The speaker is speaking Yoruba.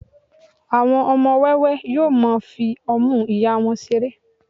àwọn ọmọ wẹwẹ yíò ma fi ọmu ìyá wón seré